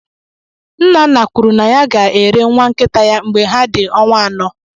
Nnanna kwuru na ya ga-ere nwa nkịta ya mgbe ha dị ọnwa ano.